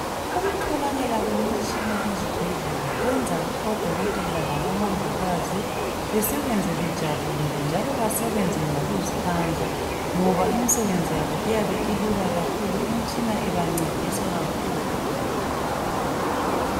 ukutholakaa kwemitshina ezibhedlela kwenza o dokotela labo mongikazi besebenze bejabulile njalo basebenze ngokuzikhandla ngoba imisebenzi yabo iyabe ilula kakhulu imtshina ibancedisa kakhulu